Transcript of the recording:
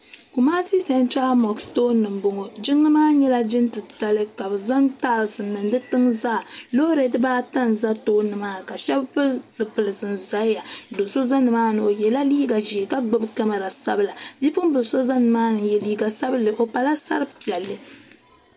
Kumasi sentra moksi tooni m boŋɔ m boŋɔ jiŋli maa nyɛla jiŋ titali ka bɛ zaŋ taasi n niŋ di tiŋa zaa loori dibaata n za tooni maa ka sheba pili zipiliti n zaya do'so za nimaani o yela liiga ʒee o gbibila kamara sabila bipuɣimbila so zala nimaani o pala sari piɛlli.